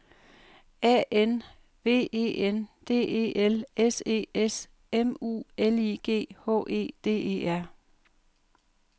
A N V E N D E L S E S M U L I G H E D E R